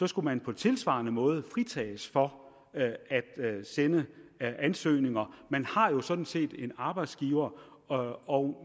skulle man på tilsvarende måde fritages for at sende ansøgninger man har jo sådan set en arbejdsgiver og og